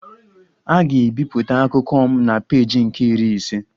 A ga-ebipụta akụkọ m na peeji nke Iri ise